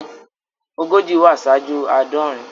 Ogójì wá ṣáájú àádọrin.